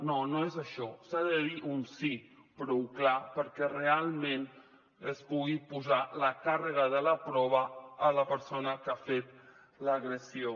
no no és això s’ha de dir un sí prou clar perquè realment es pugui posar la càrrega de la prova en la persona que ha fet l’agressió